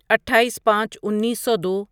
اٹھائیس پانچ انیسو دو